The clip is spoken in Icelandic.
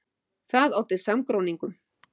Það olli samgróningum.